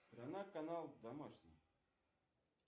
страна канал домашний